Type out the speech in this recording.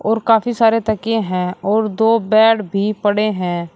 और काफी सारे तकिए है और दो बेड भी पड़े है।